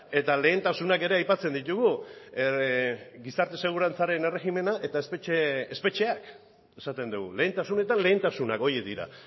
eta lehentasunak ere aipatzen ditugu gizarte segurantzaren erregimena eta espetxeak esaten dugu lehentasunetan lehentasunak horiek dira